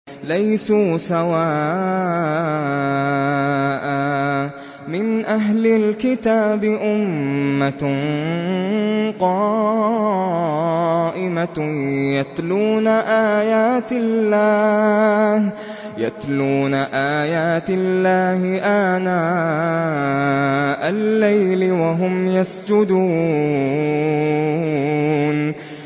۞ لَيْسُوا سَوَاءً ۗ مِّنْ أَهْلِ الْكِتَابِ أُمَّةٌ قَائِمَةٌ يَتْلُونَ آيَاتِ اللَّهِ آنَاءَ اللَّيْلِ وَهُمْ يَسْجُدُونَ